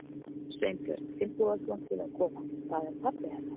Sveinbjörn Finnbogason til að koma. það er pabbi hennar.